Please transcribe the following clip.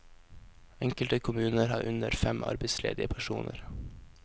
Enkelte kommuner har under fem arbeidsledige personer.